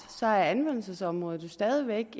er anvendelsesområdet jo stadig væk